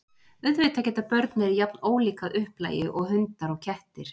Auðvitað geta börn verið jafn ólík að upplagi og hundar og kettir.